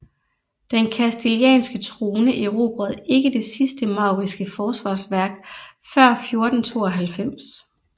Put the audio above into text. Den kastilianske trone erobrede ikke det sidste mauriske forsvarsværk før 1492